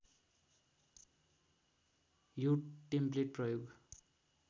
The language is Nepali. यो टेम्प्लेट प्रयोग